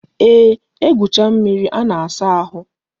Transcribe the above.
Eeh, egwucha mmiri a na-asa ahụ